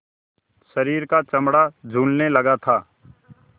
शरीर का चमड़ा झूलने लगा था